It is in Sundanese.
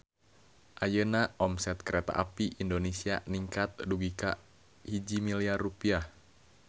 Ayeuna omset Kereta Api Indonesia ningkat dugi ka 1 miliar rupiah